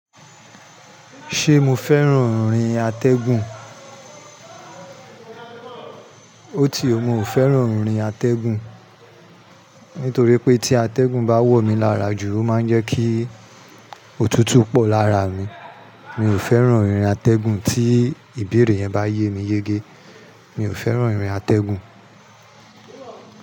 Ṣé mo fẹ́ràn ìrìn atẹ́gùn? Óti ó, mo ò fẹ́ràn ìrìn atẹ́gùn. Nítorí pé tí atẹ́gùn bá wọ̀ mí lára jù, ó máa ń jẹ́ kí òtútù pọ̀ lára mi. Mi ò fẹ́ràn ìrìn atẹ́gùn tí ìbéèrè yẹn bá yé mi yege. Mi ò fẹ́ràn ìrìn atẹ́gùn.